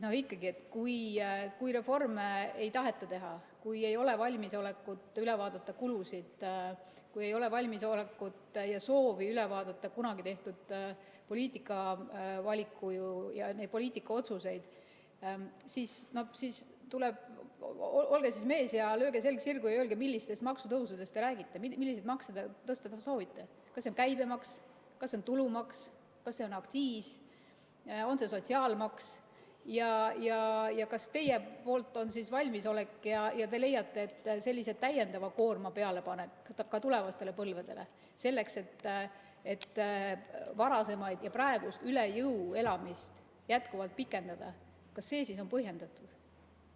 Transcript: Ikkagi, kui reforme ei taheta teha, kui ei ole valmisolekut üle vaadata kulusid, kui ei ole valmisolekut ja soovi üle vaadata kunagi tehtud poliitikavalikuid ja neid poliitikaotsuseid, olge siis mees, lööge selg sirgu ja öelge, millistest maksutõusudest te räägite, milliseid makse te tõsta soovite, kas see on käibemaks, kas see on tulumaks, kas see on aktsiis, on see sotsiaalmaks, ja kas teil on selleks valmisolek ja te leiate, et sellise täiendava koorma pealepanek ka tulevastele põlvedele, selleks et varasemat ja praegust üle jõu elamist pikendada, on põhjendatud.